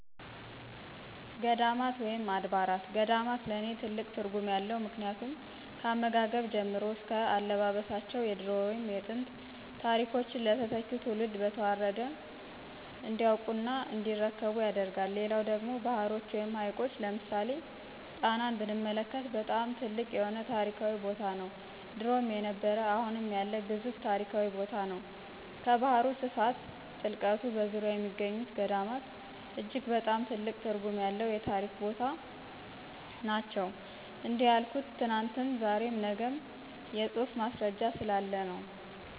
ገዳማት ወይም አድባራት ገዳማት ለኔ ትልቅ ትርጉም አለው ምክንያቱም ካመጋገብ ጀምሮ እስከ አለባበሳቸው የድሮ ወይም የጥንት ታሪኮችን ለተተኪው ትውልድ በተዋረድ እንዲያውቁ እና እንዲረከቡ ያደርጋል። ሌላው ደግሞ ባህሮች ወይም ሀይቆች ለምሳሌ ጣናን ብንመለክት በጣም ትልቅ የሆነ ታሪካዊ ቦታነው ድሮም የነበረ አሁም ያለ ግዙፍ ታሪካዊ ቦታነው። ከባህሩ ስፋት ጥልቀቱ በዙርያው የሚገኙ ገዳማት እጅግ በጣም ትልቅ ትርጉም ያለው የታሪክ ቦታ ነናቸው። እንዲህ ያልሁት ትናንትም ዛሬም ነግም የፁሁፍ ማስረጃ ስላለ ነው።